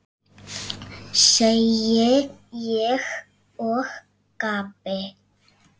segi ég og gapi.